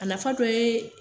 A nafa dɔ ye